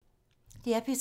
DR P3